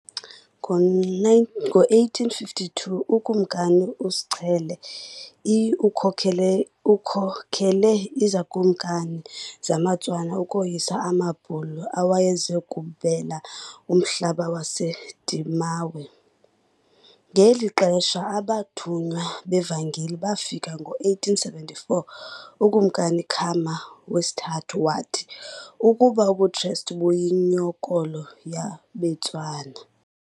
Ngo-1852 uKumkani uSechele I ukhokele izikumkani zamaTswana ukoyisa amaBhulu awayeze kubela umhlaba waseDimawe. Ngeli xesha abathunywa bevangeli bafika- ngo-1875 uKumkani Khama III wathi ukuba ubuKrestu buyinkolo yabeTswana.